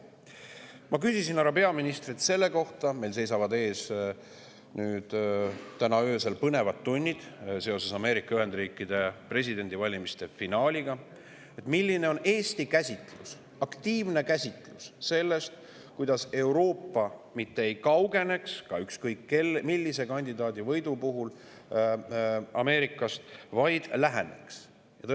Ma küsisin härra peaministrilt selle kohta – meil seisavad täna öösel ees põnevad tunnid seoses Ameerika Ühendriikide presidendivalimiste finaaliga –, milline on Eesti aktiivne käsitlus sellest, kuidas Euroopa mitte ei kaugeneks ükskõik millise kandidaadi võidu puhul Ameerikast, vaid läheneks talle.